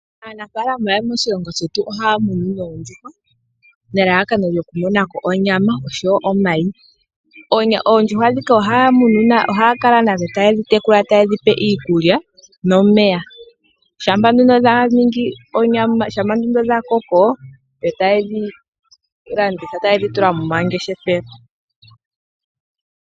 Aanafaalama yomoshilongo shetu ohaya munu oondjuhwa nelalakano lyokumona ko onyama osho wo omayi. Oondjuhwa dhika ohaya kala nadho taye dhi tekula taye dhi pe iikulya no omeya shampa nduno dha koko yo taye dhi tula mo mangeshefelo.